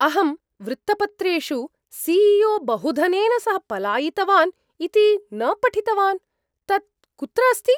अहं वृत्तपत्रेषु C E O बहुधनेन सह पलायितवान् इति न पठितवान्। तत् कुत्र अस्ति?